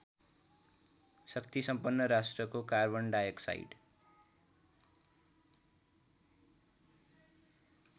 शक्तिसम्पन्न राष्ट्रको कार्बनडाइअक्साइड